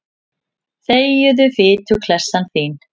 Þegiðu, fituklessan þín.